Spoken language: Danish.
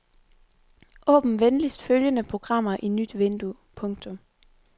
Åbn venligst følgende programmer i nyt vindue. punktum